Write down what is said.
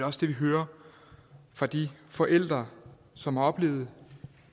også det vi hører fra de forældre som har oplevet